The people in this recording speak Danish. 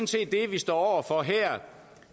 set det vi står for her